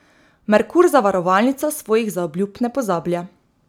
Merkur zavarovalnica svojih zaobljub ne pozablja.